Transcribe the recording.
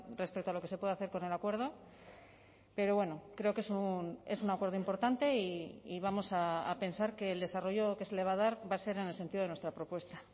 respecto a lo que se puede hacer con el acuerdo pero bueno creo que es un acuerdo importante y vamos a pensar que el desarrollo que se le va a dar va a ser en el sentido de nuestra propuesta